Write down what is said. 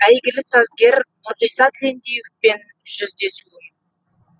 әйгілі сазгер нұрғиса тілендиевпен жүздесуім